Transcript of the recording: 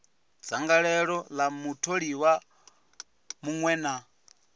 dzangalelo ḽa mutholiwa muṅwe na